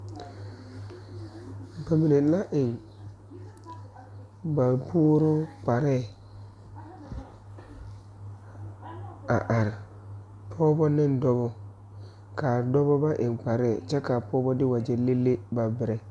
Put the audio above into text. Bamine na eŋ ba puoruu kparre a are pɔgeba ne dɔbɔ ka dɔba ba eŋ kparre ka a pɔgeba de wagyɛ le le ba berɛ.